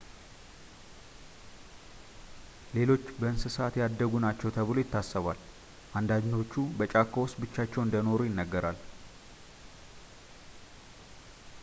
ሌሎች በእንስሳት ያደጉ ናቸው ተብሎ ይታሰባል አንዳንዶቹ በጫካ ውስጥ ብቻቸውን እንደኖሩ ይነገራል